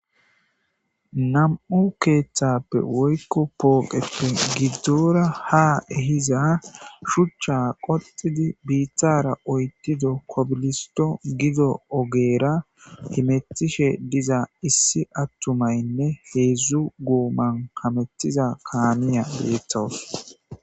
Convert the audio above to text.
nam7u keeththappe woykko pooqeppe giddora ha ehiza shuchcha qotidi biiththara oytido kobilisto gido ogeera himettishe diza issi attumaynne heedzdzu guuman kamettiza kaamiya beetawus